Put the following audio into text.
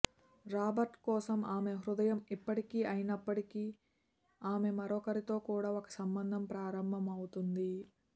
Robert కోసం ఆమె హృదయం ఇప్పటికీ అయినప్పటికీ ఆమె మరొకరితో కూడా ఒక సంబంధం ప్రారంభమవుతుంది